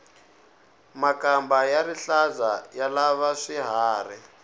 makamba ya rihlaza ya lava hi swiharhi